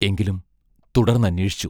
എങ്കിലും തുടർന്നന്വേഷിച്ചു.